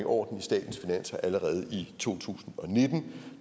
orden i statens finanser allerede i to tusind og nitten